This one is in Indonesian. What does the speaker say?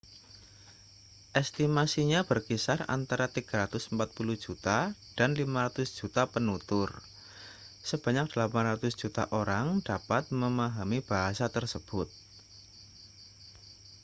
estimasinya berkisar antara 340 juta dan 500 juta penutur sebanyak 800 juta orang dapat memahami bahasa tersebut